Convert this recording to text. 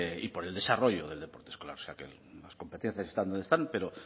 y por el desarrollo del deporte escolar o sea que las competencias están donde están pero